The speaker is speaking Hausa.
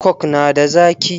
Coke na da zaki?